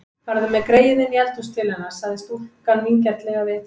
Farðu með greyið inní eldhús til hennar, sagði stúlkan vingjarnlega við